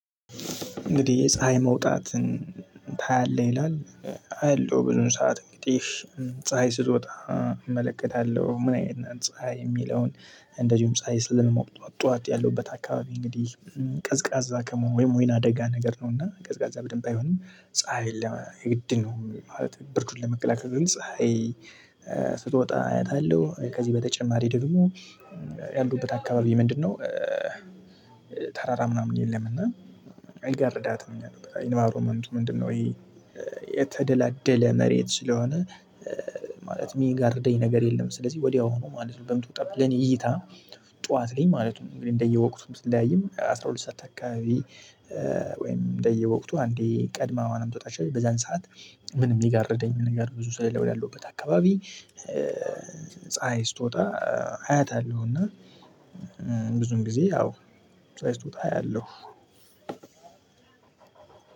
እንግዲህ የፀሀይ መውጣትን ታያለህ? ይላል አያለሁ ብዙውን ሰዓት እንግዲህ ፀሀይ ስትወጣ እመለከታለሁ። ምን አይነት ናት? ፀሀይ የሚለውን እንደዚሁም ፀሀይ ስለምሞቅ ጠዋት ጠዋት ያለውበት አካባቢ እንግዲህ ቀዝቃዛ ወይም ወይን አደጋ ነገር ነው። እና ቀዝቃዛ በደንብ አይሆንም ፀሀይ የለም የግድ ነው ማለት ብርዱን ለመከላከል ነው። እንጂ ፀሀይ ስትወጣ አያታለሁ። ከዚህ በተጨማሪ ደግሞ ያለሁበት አካባቢ ምንድነው? ተራራ ምናምን የለም። እና አይጋርዳትም እኛ ጋር ኢንቪሮመንቱ ምንድነው? ይሄ የተደላደለ መሬት ስለሆነ ማለት የሚጋርደኝ ነገር የለም። ስለዚህ ወዲያው ነው ማለት ነው። በምትወጣበት ለኔ እይታ ጠዋት ላይ ማለት ነው። እንደየወቅቱ ብትለያይም አስራ ሁለት ሰዓት አካባቢ ወይም እንደየወቅቱ አንዴ ቀድማ ልትወጣ ትችላለች። በዛን ሰዓት ምንም የሚጋርደኝ ምንም ነገር ብዙ ስለሌለ ወዳለውበት አካባቢ ፀሀይ ስትወጣ አያታለሁና። ብዙውን ጊዜ ያው ፀሀይ ስትወጣ አያለሁ።